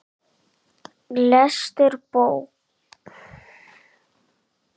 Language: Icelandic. Lestur bókar yðar knýr mann nánast til að skríða á fjórum fótum.